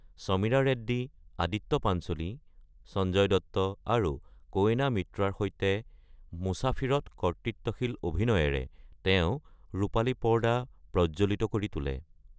সমীৰা ৰেড্ডী, আদিত্য পাঞ্চোলী, সঞ্জয় দত্ত, আৰু ক’য়েনা মিত্ৰাৰ সৈতে মুছাফিৰত কৰ্তৃত্বশীল অভিনয়েৰে তেওঁ ৰূপালী পৰ্দা প্ৰজ্বলিত কৰি তোলে।